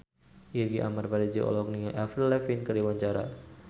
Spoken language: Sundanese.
Irgi Ahmad Fahrezi olohok ningali Avril Lavigne keur diwawancara